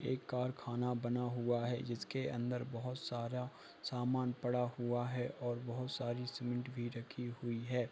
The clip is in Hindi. एक कारखाना बना हुआ है जिसके अंदर बहुत सारा सामान पड़ा हुआ है और बहुत सारी सीमेन्ट भी रखी हुई है।